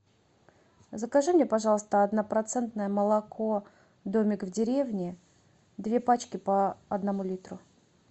закажи мне пожалуйста однопроцентное молоко домик в деревне две пачки по одному литру